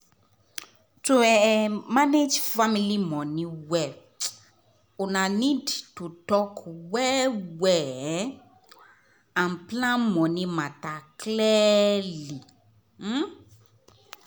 to um manage family money well una need to talk well-well um and plan money matter clearly. um